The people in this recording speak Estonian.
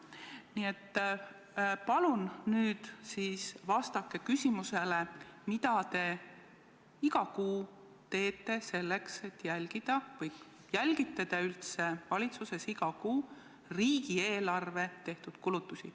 Nii et palun vastake küsimusele, mida te iga kuu teete selleks, et jälgida, või kas te jälgite üldse valitsuses iga kuu riigieelarvest tehtud kulutusi.